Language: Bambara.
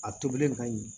A tobilen ka ɲi